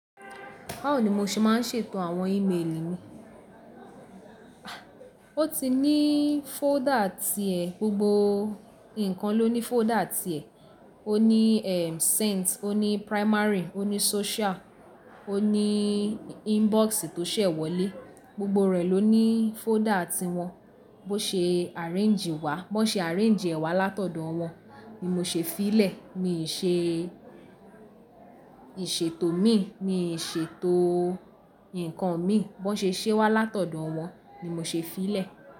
Báwo ni mo ṣe máa ń ṣètò àwọn e-mail mi? O ti ní folder ti ẹ, gbogbo nǹkan ló ní folder ti ẹ. O ní sent, o ní primary, o ní social, o ní inbox tó ṣẹ̀ wọlé, gbogbo rẹ̀ ló ní folder ti wọn. Bó ṣe arrange wá, bó ṣe arrange ẹ wá látọ̀dọ̀ wọn ni mo ṣe fí lẹ̀. Mii ṣe ìṣètò mi, mi n ṣe ètò nǹkan mi, bó ṣe ṣé wá látọ̀dọ̀ wọn ni mo ṣe fí lẹ̀